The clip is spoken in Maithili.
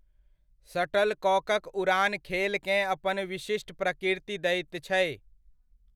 शटलकॉकक उड़ान खेलकेँ अपन विशिष्ट प्रकृति दैत छै।